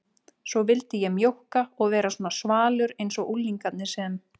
Svo vildi ég mjókka og vera svona svalur einsog unglingarnir sem